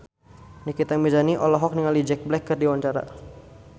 Nikita Mirzani olohok ningali Jack Black keur diwawancara